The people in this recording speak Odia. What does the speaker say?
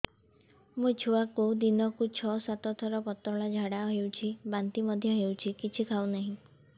ମୋ ଛୁଆକୁ ଦିନକୁ ଛ ସାତ ଥର ପତଳା ଝାଡ଼ା ହେଉଛି ବାନ୍ତି ମଧ୍ୟ ହେଉଛି କିଛି ଖାଉ ନାହିଁ